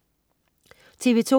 TV2: